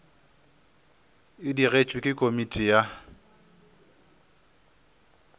e digetšwe ke komiti ya